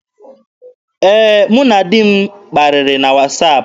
Ee, mụ na di m kparịrị na wasaapụ.